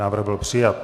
Návrh byl přijat.